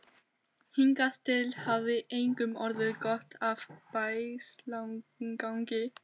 Hingað til hafði engum orðið gott af bægslagangi.